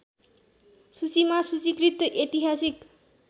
सूचीमा सूचिकृत ऐतिहासिक